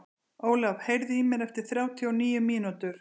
Ólaf, heyrðu í mér eftir þrjátíu og níu mínútur.